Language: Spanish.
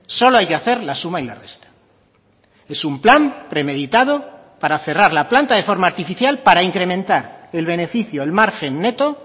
solo hay que hacer la suma y la resta es un plan premeditado para cerrar la planta de forma artificial para incrementar el beneficio el margen neto